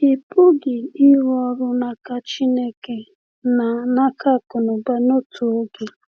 Ị pụghị ịrụ ọrụ n’aka Chineke na n’aka akụnụba n’otu oge.